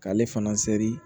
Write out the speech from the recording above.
K'ale fana seri